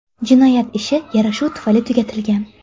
Jinoyat ishi yarashuv tufayli tugatilgan.